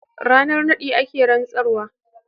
Ranar naɗi ake rantsarwa.